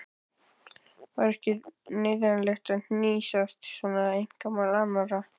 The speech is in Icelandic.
Var ekki neyðarlegt að hnýsast svona í einkamál annarra?